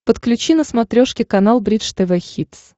подключи на смотрешке канал бридж тв хитс